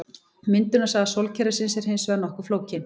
Myndunarsaga sólkerfisins er hins vegar nokkuð flókin.